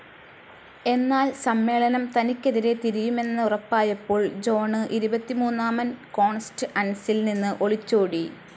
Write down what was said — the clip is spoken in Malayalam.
എന്നാൽ സമ്മേളനം തനിക്കെതിരെ തിരിയുമെന്നുറപ്പായപ്പോൾ ജോൺ ഇരുപത്തിമൂന്നാമൻ കോൺസ്ററ്അൻസിൽ നിന്ന് ഒളിച്ചോടി.